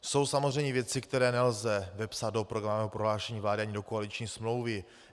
Jsou samozřejmě věci, které nelze vepsat do programového prohlášení vlády ani do koaliční smlouvy.